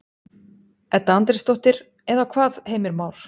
Edda Andrésdóttir: Eða hvað, Heimir Már?